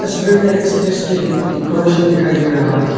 तस्वीर मे स्टेज के डे डेकोरेशन दिखाई दे रहा है।